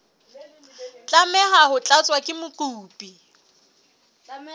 tlameha ho tlatswa ke mokopi